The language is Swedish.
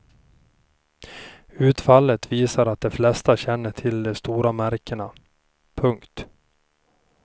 Utfallet visar att de flesta känner till de stora märkena. punkt